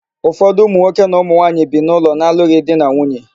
Ụfọdụ ụmụnwoke na ụmụnwaanyi bi n'ụlọ na-alụghị di na nwunye.